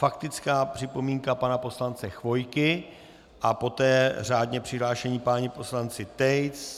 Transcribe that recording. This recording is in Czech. Faktická připomínka pana poslance Chvojky a poté řádně přihlášení páni poslanci Tejc...